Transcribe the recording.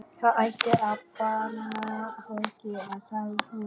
Það ætti að banna fólki að tala svona.